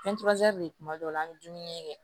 de kuma dɔw la an bɛ dumuni kɛ